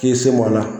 K'i se m'o la